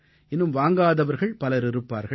இன்னும் வாங்காதவர்கள் பலர் இருப்பார்கள்